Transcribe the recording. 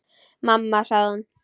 Mamma sagði hún.